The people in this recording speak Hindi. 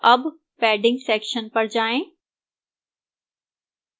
अब padding section पर जाएं